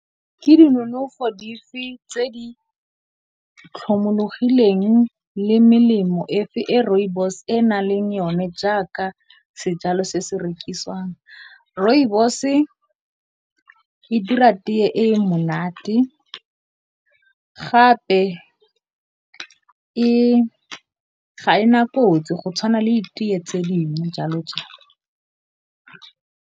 Ke dinonofo dife tse di tlhomologileng le melemo e Rooibos e na leng yone jaaka sejalo se se rekisiwang? Rooibos e dira tee e monate gape, ga e na kotsi go tshwana le di tee tse dingwe jalo jalo.